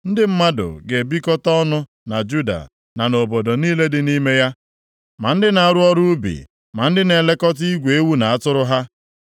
Ndị mmadụ ga-ebikọta ọnụ na Juda na nʼobodo niile dị nʼime ya, ma ndị na-arụ ọrụ ubi, ma ndị na-elekọta igwe ewu na atụrụ ha.